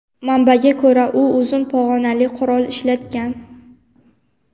Manbaga ko‘ra, u uzun pog‘onali qurol ishlatgan.